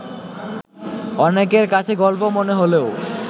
অনেকের কাছে গল্প মনে হলেও